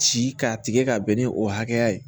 Ci k'a tigɛ ka bɛn ni o hakɛya ye